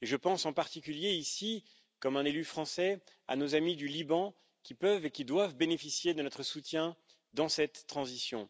Je pense en particulier, en tant qu'élu français, à nos amis du Liban qui peuvent et doivent bénéficier de notre soutien dans cette transition.